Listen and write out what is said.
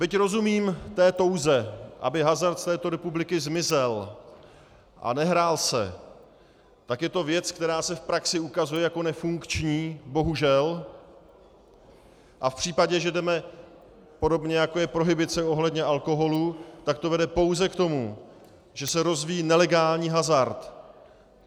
Byť rozumím té touze, aby hazard z této republiky zmizel a nehrál se, tak je to věc, která se v praxi ukazuje jako nefunkční, bohužel, a v případě, že jdeme, podobně jako je prohibice ohledně alkoholu, tak to vede pouze k tomu, že se rozvíjí nelegální hazard.